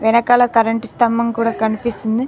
వెనకాల కరెంట్ స్తంభం కూడా కనిపిస్తుంది.